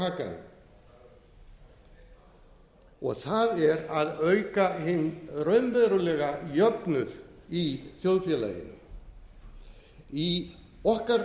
hakanum og það er að auka hinn raunverulega jöfnuð í þjóðfélaginu í okkar